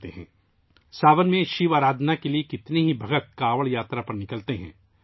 بہت سے عقیدت مند ساون میں شیو کی پوجا کرنے کے لیے کانوڑ یاترا پر نکلتے ہیں